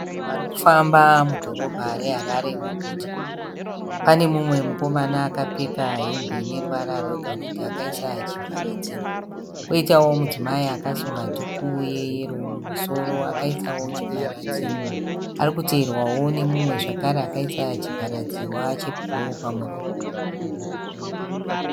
Vanhu vari kufamba mudhorobha reHarare muguta. Pane mumwe mukomana akapfeka hembe ine ruvara rwegoridhe akaisa chivharadzihwa. Kwoitawo mudzimai akasunga dhuku yeyero mumusoro akaisawo chivharadzihwa. Ari kuteverwawo nemumwe zvakare akaisa chivharadzihwa chebhuruu pamuromo.